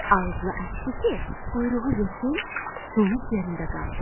Ağzını açdı ki, quyruğu yesin, donub yerində qaldı.